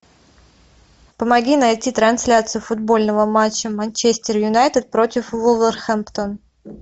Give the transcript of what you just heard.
помоги найти трансляцию футбольного матча манчестер юнайтед против вулверхэмптон